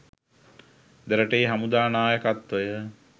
දෙරටේ හමුදා නායකත්වය